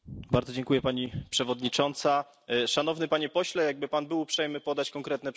Szanowny Panie Pośle, jakby Pan był uprzejmy podać konkretne przykłady sklepów, do których Pan nie może wejść w Polsce.